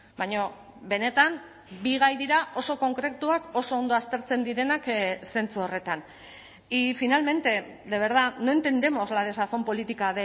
baina benetan bi gai dira oso konkretuak oso ondo aztertzen direnak zentzu horretan y finalmente de verdad no entendemos la desazón política